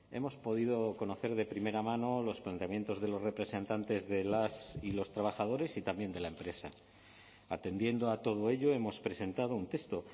hemos podido conocer de primera mano los planteamientos de los representantes de las y los trabajadores y también de la empresa atendiendo a todo ello hemos presentado un texto